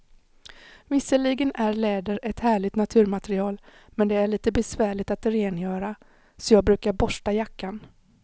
Visserligen är läder ett härligt naturmaterial, men det är lite besvärligt att rengöra, så jag brukar borsta jackan.